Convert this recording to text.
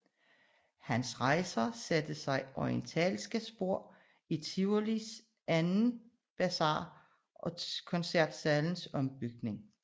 Hans rejser satte sig orientalske spor i Tivolis anden Bazar og Koncertsalens ombygning